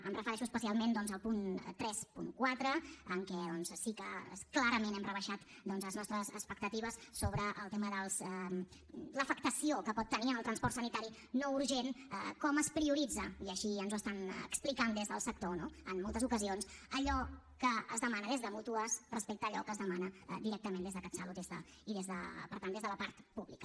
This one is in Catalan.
em refereixo especialment doncs al punt trenta quatre en què sí que clarament hem rebaixat les nostres expectatives sobre el tema de l’afectació que pot tenir en el transport sanitari no urgent com es prioritza i així ens ho expliquen des del sector no en moltes ocasions allò que es demana des de mútues respecte a allò que es demana directament des de catsalut i per tant des de la part pública